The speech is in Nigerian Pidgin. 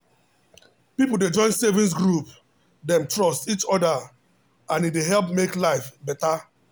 people dey join savings group dem trust each other and e dey help make life better.